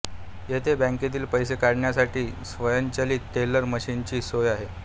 येथे बॅंकेतील पैसे काढण्यासाठी स्वयंचलित टेलर मशीनची सोय आहे